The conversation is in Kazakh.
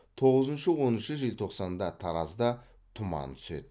тоғызыншы оныншы желтоқсанда таразда тұман түседі